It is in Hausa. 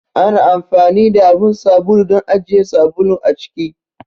Ana anfani da abun sabulu don ajiye sabulu a ciki.